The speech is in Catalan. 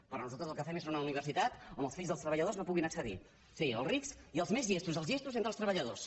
però nosaltres el que fem és una universitat on els fills dels treballadors no hi puguin accedir sí els rics i els més llestos dels llestos entre els treballadors